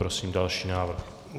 Prosím další návrh.